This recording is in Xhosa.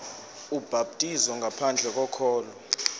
ubhaptizo ngaphandle kokholo